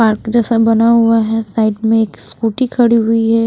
Park जैसा बना हुआ है साइड में एक स्कूटी खड़ी हुई है।